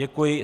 Děkuji.